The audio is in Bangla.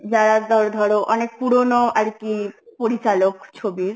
যারা জর~ ধর অনেক পুরনো আরকি পরিচালক ছবির